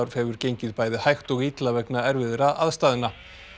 hefur gengið bæði hægt og illa vegna erfiðra aðstæðna